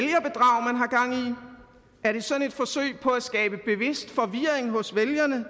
er det sådan et forsøg på at skabe bevidst forvirring hos vælgerne